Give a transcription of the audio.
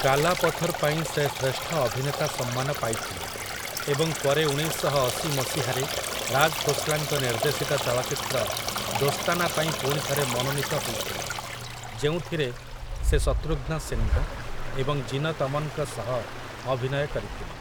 କାଲା ପଥର୍' ପାଇଁ ସେ ଶ୍ରେଷ୍ଠ ଅଭିନେତା ସମ୍ମାନ ପାଇଥିଲେ ଏବଂ ପରେ ଉଣେଇଶ ଶହ ଅଶୀ ମସିହାରେ ରାଜ୍ ଖୋସ୍‌ଲାଙ୍କ ନିର୍ଦ୍ଦେଶିତ ଚଳଚ୍ଚିତ୍ର 'ଦୋସ୍ତାନା' ପାଇଁ ପୁଣିଥରେ ମନୋନୀତ ହୋଇଥିଲେ, ଯେଉଁଥିରେ ସେ ଶତ୍ରୁଘ୍ନ ସିହ୍ନା ଏବଂ ଜୀନତ୍ ଅମନ୍‌ଙ୍କ ସହ ଅଭିନୟ କରିଥିଲେ ।